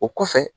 O kɔfɛ